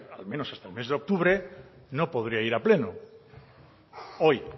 al menos hasta el mes de octubre no podría ir a pleno hoy